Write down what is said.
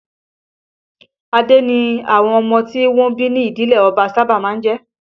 Adé ni àwọn ọmọ tí wọ́n bí ní ìdílé ọba sábà máa ń jẹ́